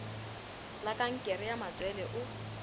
la kankere ya matswele o